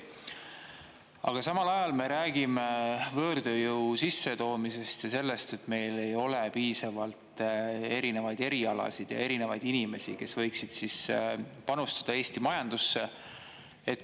Aga samal ajal me räägime võõrtööjõu sissetoomisest ja sellest, et meil ei ole piisavalt erinevaid erialasid ja erinevaid inimesi, kes võiksid panustada Eesti majandusse.